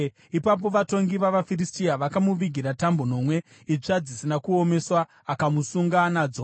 Ipapo vatongi vavaFiristia vakamuvigira tambo nomwe itsva dzisina kuomeswa, akamusunga nadzo.